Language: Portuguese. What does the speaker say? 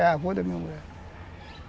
É a avó da minha mulher.